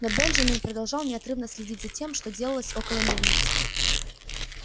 но бенджамин продолжал неотрывно следить за тем что делалось около мельницы